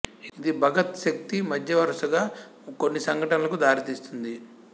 ఇది భగత్ శక్తి మధ్య వరుసగా కొన్ని సంఘటనలకు దారితీస్తుంది